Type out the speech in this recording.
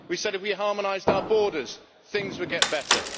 We said if we harmonised our borders, things would get better.